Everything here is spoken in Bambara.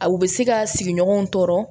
A u bɛ se ka sigiɲɔgɔnw tɔɔrɔ